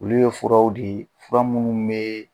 Olu ye furaw de ye fura minnu bɛ